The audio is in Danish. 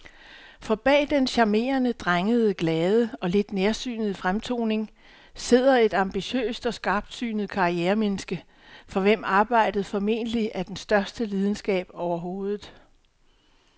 For bag den charmerende, drengede, glade og lidt nærsynede fremtoning sidder et ambitiøst og skarpsynet karrieremenneske, for hvem arbejdet formentlig er den største lidenskab overhovedet.